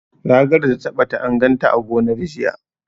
Ragar da ta ɓata, an ganta a gonar, jiya.